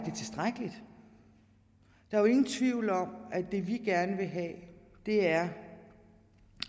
er tilstrækkeligt der er ingen tvivl om at det vi gerne vil have er